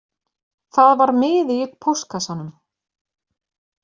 Það var miði í póstkassanum